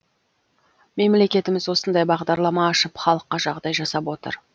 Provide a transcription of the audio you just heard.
мемлекетіміз осындай бағдарлама ашып халыққа жағдай жасап отыр